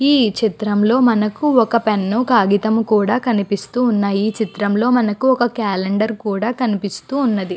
ఈ చిత్రంలో మనకు పెను కాగితము కూడా కనిపిస్తూ ఉన్నయి. ఈ చిత్రం లో మనకి ఒక క్యాలెండరు కూడా కనిపిస్తూ ఉన్నది.